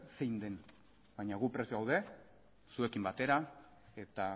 zein den baina gu prest gaude zuekin batera eta